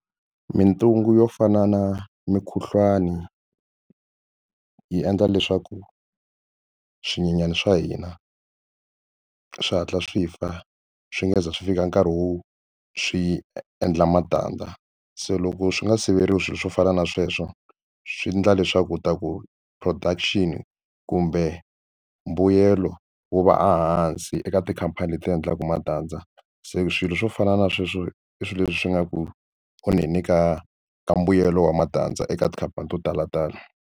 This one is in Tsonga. Mintungu yo fana na mukhuhlwani yi endla leswaku swinyenyani swa hina swi hatla swi fa swi nga ze swi fika nkarhi wo swi endla matandza se loko swi nga siveriwa swilo swo fana na sweswo swi endla leswaku u ta ku production kumbe mbuyelo wu va a hansi eka tikhampani leti endlaka matandza se swilo swo fana na sweswo i swilo leswi swi nga ku onheni ka ka mbuyelo wa matandza eka tikhampani to tala tala.